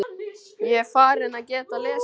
Ég er farinn að geta lesið.